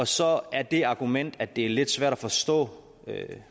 så er det argument at det er lidt svært at forstå